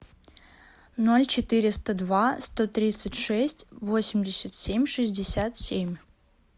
ноль четыреста два сто тридцать шесть восемьдесят семь шестьдесят семь